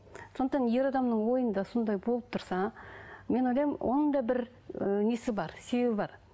сондықтан ер адамның ойында сондай болып тұрса мен ойлаймын оның да бір ыыы несі бар себебі бар